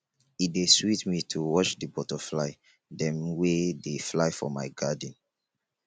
e dey sweet me to watch di butterfly dem wey dey fly for my garden